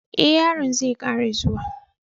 eh, yaron zai Kara zuwa.